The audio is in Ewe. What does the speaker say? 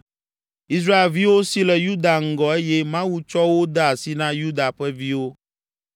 Israelviwo si le Yuda ŋgɔ eye Mawu tsɔ wo de asi na Yuda ƒe viwo